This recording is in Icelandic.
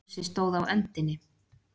Fúsi stóð á öndinni.